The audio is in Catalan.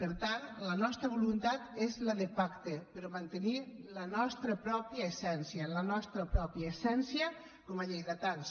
per tant la nostra voluntat és la de pacte però mantenint la nostra pròpia essència la nostra pròpia essència com a lleidatans